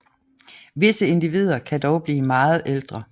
Visse individer kan dog blive meget ældre